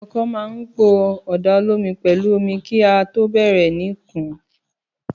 Àkọkọ mà ń pọ Ọ̀dá òlòmí pẹ̀lú ọ̀mí kà tọ bẹẹrẹ ni kún